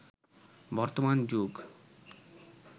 বর্তমান যুগ